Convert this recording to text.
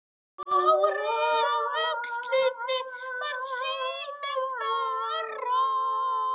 Sárið á öxlinni varð sífellt verra.